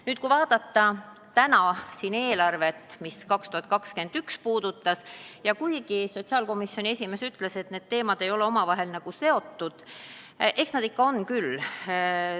Kui nüüd vaadata täna siin eelarvet, mis puudutab aastat 2021, siis kuigi sotsiaalkomisjoni esimees ütles, et need teemad ei ole omavahel nagu seotud, eks nad ikka on küll.